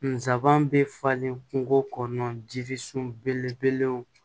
Nsaban bɛ falen kungo kɔnɔ jirisun belebelew